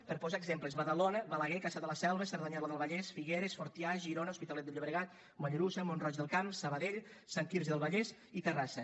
per posar ne exemples badalona balaguer cassà de la selva cerdanyola del vallès figueres fortià girona l’hospitalet de llobregat mollerussa mont roig del camp sabadell sant quirze del vallès i terrassa